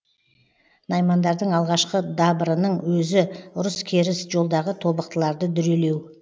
наймандардың алғашқы дабырының өзі ұрыс керіс жолдағы тобықтыларды дүрелеу